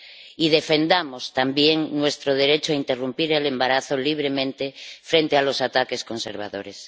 Y defendamos también nuestro derecho a interrumpir el embarazo libremente frente a los ataques conservadores.